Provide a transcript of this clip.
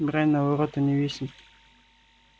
брань на вороту не виснет